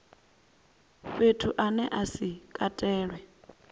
fhethu ane a si katelwe